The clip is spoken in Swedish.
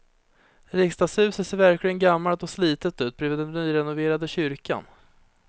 Riksdagshuset ser verkligen gammalt och slitet ut bredvid den nyrenoverade kyrkan.